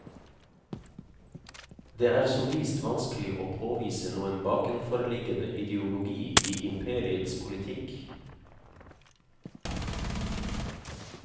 Det er som vist vanskelig å påvise noen bakenforliggende ideologi i imperiets politikk.